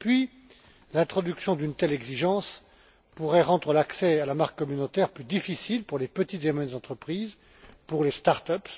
Et puis, l'introduction d'une telle exigence pourrait rendre l'accès à la marque communautaire plus difficile pour les petites et moyennes entreprises, pour les start ups